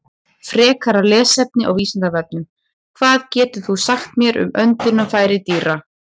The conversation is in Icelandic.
Frekara lesefni á Vísindavefnum: Hvað getur þú sagt mér um öndunarfæri dýra?